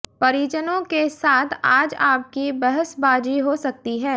परिजनों के साथ आज आपकी बहसबाजी हो सकती है